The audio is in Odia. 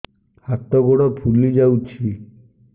ହାତ ଗୋଡ଼ ଫୁଲି ଯାଉଛି